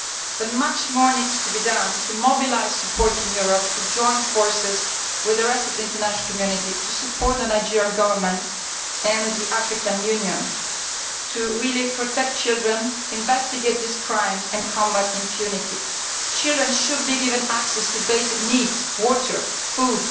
But much more needs to be done to mobilise support in Europe to join forces with the rest of the international community to support the Nigerian Government and the African Union to protect children, investigate these crimes and combat impunity. Children should be given access to basic needs water, food,